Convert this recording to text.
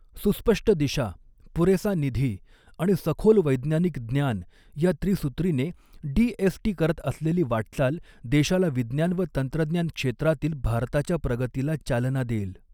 सुस्पष्ट दिशा, पुरेसा निधी, आणि सखोल वैज्ञानिक ज्ञान या त्रिसूत्रीने डीएसटी करत असलेली वाटचाल देशाला विज्ञान व तंत्रज्ञान क्षेत्रातील भारताच्या प्रगतीला चालना देईल.